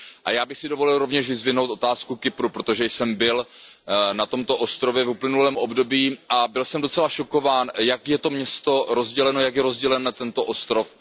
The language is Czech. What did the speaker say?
Já bych si dovolil rovněž vyzdvihnout otázku Kypru, protože jsem byl na tomto ostrově v uplynulém období a byl jsem docela šokován, jak je to město rozděleno, jak je rozdělen tento ostrov.